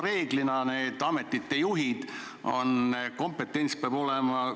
Reeglina nõutakse nende ametite juhtidelt, et kompetents peab olema.